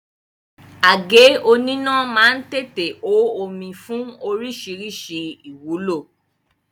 Àgé oníná má ń tètè hó omi fún oríṣiríṣi ìwúlò